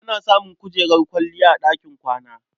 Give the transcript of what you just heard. Ana samun kujerar kwalliya a ɗakin kwana.